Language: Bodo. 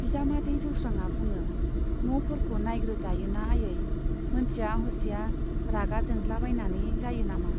बिजामादै जौस्रांआ बुङो, न'फोरखौ नाइग्रो जायो ना आयै, मोनथिया हसिया रागा जोंद्लाबायनानै जायो नामा?